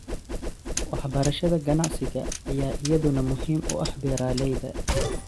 Waxbarashada ganacsiga ayaa iyaduna muhiim u ah beeralayda.